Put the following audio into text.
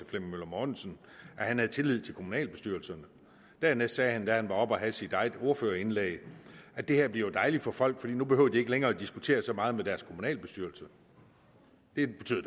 flemming møller mortensen at han havde tillid til kommunalbestyrelserne dernæst sagde ordføreren da han var oppe og havde sit ordførerindlæg at det her blev dejligt for folk for nu behøvede de ikke længere at diskutere så meget med deres kommunalbestyrelse det betyder